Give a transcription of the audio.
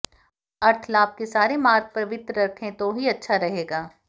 अर्थ लाभ के सारे मार्ग पवित्र रखें तो ही अच्छा रहेगा